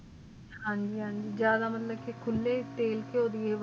ਹਨ ਜੀ ਹਨ ਜੀ ਖੁਲੇ ਤਿਲ